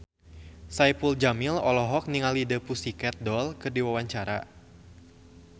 Saipul Jamil olohok ningali The Pussycat Dolls keur diwawancara